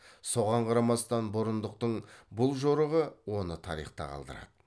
соған қарамастан бұрындықтың бұл жорығы оны тарихта қалдырады